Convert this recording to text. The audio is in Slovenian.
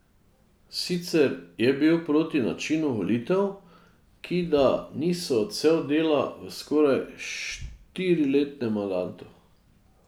Sicer je bil proti načinu volitev, ki da niso odsev dela v skoraj štiriletnem mandatu.